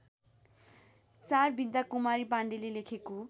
४ विद्याकुमारी पाण्डेले लेखेको